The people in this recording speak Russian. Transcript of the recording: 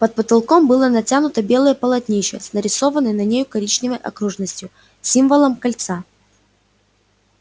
под потолком было натянуто белое полотнище с нарисованной на нем коричневой окружностью символом кольца